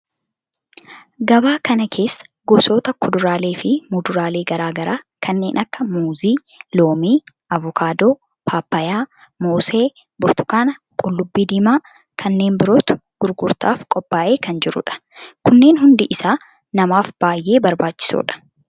Gabaa kana keessa gosoota kuduraalee fi muduraalee garaa garaa kanneen akka muuzii, loomii, avokaadoo, paappayyaa, moosee, burtukaana, qullubbii diimaa kanneen birootu gurgurtaaf qophaa'ee kan jirudha. Kunneen hundi isaa namaaf baayyee barbaachisodha.